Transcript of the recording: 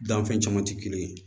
Danfɛn caman tɛ kelen ye